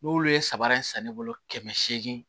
N'olu ye saba in san ne bolo kɛmɛ seegin